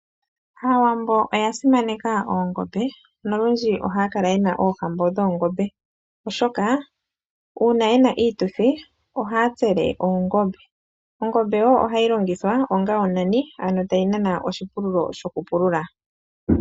Aawambo oya simaneka oongombe nolundji ohaya kala yena oohambo dhoongombe, oshoka uuna yena iituthi ohaya tsele oongombe. Ongombe wo ohayi longithwa onga onani. Ano tayi nana oshipululo shokupulula.